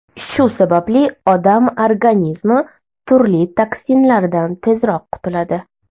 Shu sababli odam organizmi turli toksinlardan tezroq qutiladi.